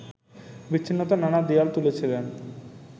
বিচ্ছিন্নতার নানা দেয়াল তুলেছিলেন